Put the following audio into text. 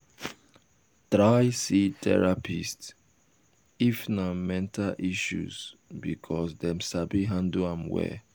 try see therapist if na um mental issues because dem sabi handle am well